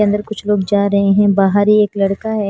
अंदर कुछ लोग जा रहे हैं बाहर एक लड़का है।